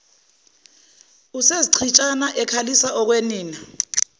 usezichitshana ekhalisa okwenina